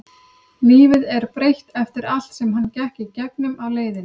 Lífið er breytt eftir allt sem hann gekk í gegnum á leiðinni.